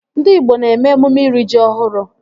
Ndị igbo na-eme emume iri ji ọhụrụ